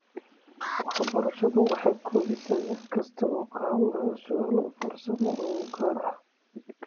Waxbarashadu waxay koobaysaa mid kasta oo ka hadlaya su'aal farsamo oo gaar ah.